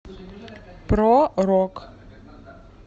про рок